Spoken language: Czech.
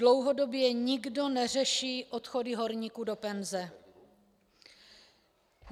Dlouhodobě nikdo neřeší odchody horníků do penze.